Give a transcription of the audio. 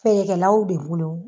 Feerekɛlaw de bolo